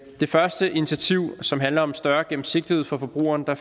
det første initiativ som handler om større gennemsigtighed for forbrugerne er